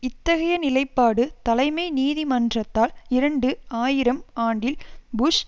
இத்தகைய நிலைப்பாடு தலைமை நீதி மன்றத்தால் இரண்டு ஆயிரம் ஆண்டில் புஷ்